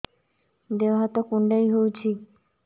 ଦେହ ହାତ କୁଣ୍ଡାଇ ହଉଛି